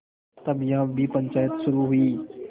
तब यहाँ भी पंचायत शुरू हुई